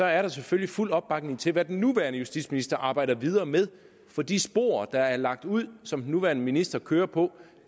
er der selvfølgelig fuld opbakning til hvad den nuværende justitsminister arbejder videre med for de spor der er lagt ud som den nuværende minister kører på